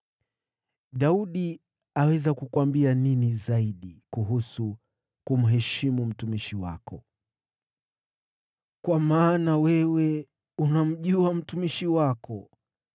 “Daudi aweza kukuambia nini zaidi kuhusu kumheshimu mtumishi wako? Kwa maana wewe unamjua mtumishi wako,